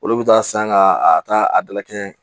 Olu bɛ taa san ka a ta a dala kɛɲɛ